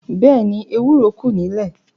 Bẹ́ẹ̀ni, ewúro kù nílé.